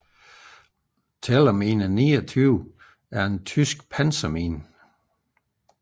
Tellermine 29 er en tysk pansermine